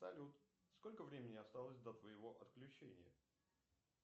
салют сколько времени осталось до твоего отключения